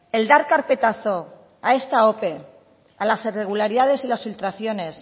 el dar carpetazo a esta ope a las irregularidades y las filtraciones